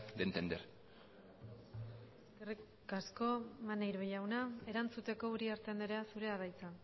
de entender eskerrik asko maneiro jauna erantzuteko uriarte andrea zurea da hitza